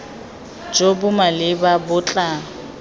jo bo maleba bo tla